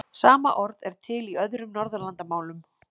Sama orð er til í öðrum Norðurlandamálum.